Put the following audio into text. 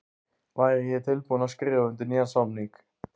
Væri ég tilbúinn til að skrifa undir nýjan samning?